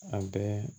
An bɛɛ